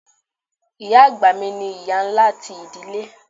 Iya àgbà mi ni iya ńlá ti idile.